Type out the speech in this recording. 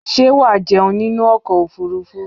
Ṣé wàá jẹun nínú ọkọ̀ ofurufú?